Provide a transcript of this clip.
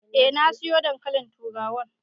Eh na sayo dankalin turawan.